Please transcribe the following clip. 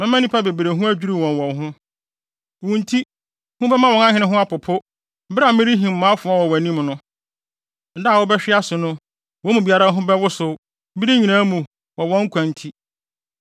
Mɛma nnipa bebree ho adwiriw wɔn wɔ wo ho, wo nti, hu bɛma wɔn ahene ho apopo bere a merehim mʼafoa wɔ wɔn anim no. Da a wobɛhwe ase no wɔn mu biara ho bɛwosow bere nyinaa mu wɔ wɔn nkwa nti.